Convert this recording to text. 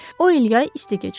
O il yay isti keçirdi.